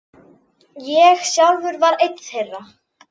Ég sjálfur var einn þeirra.